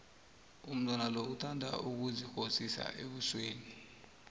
umntwana lo uthanda ukuzithsidza ebusweni